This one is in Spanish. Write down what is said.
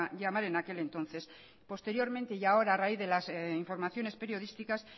llamar en aquel entonces posteriormente y ahora a raíz de las informaciones periodísticas